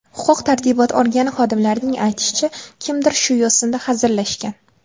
Huquq-tartibot organi xodimlarining aytishicha, kimdir shu yo‘sinda hazillashgan.